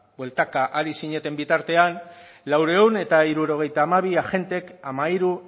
bueltaka ari zineten bitartean laurehun eta hirurogeita hamabi agentek hamairu